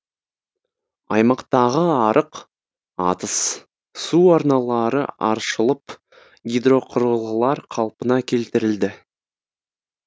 аймақтағы арық атыз су арналары аршылып гидроқұрылғылар қалпына келтірілді